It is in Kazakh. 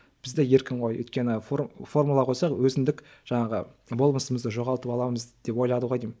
бізде еркін ғой өйткені формула қойсақ өзіндік жаңағы болмысымызды жоғалтып аламыз деп ойлады ғой деймін